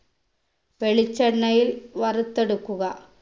വെളിച്ചെണ്ണയിൽ വറുത്തെടുക്കുക